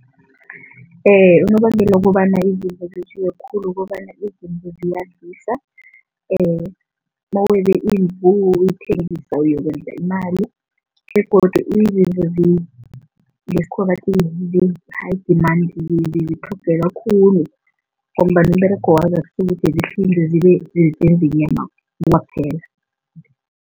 Unobangela wokobana izimvu zetjiwe khulu ukobana izimvu mawebe imvu uyithengisa uyokwenza imali begodu izinto ngesikhuwa bathi zi-high demand, zitlhogeka khulu ngombana umberego wazo zenze inyama kwaphela.